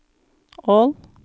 Ål